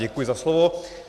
Děkuji za slovo.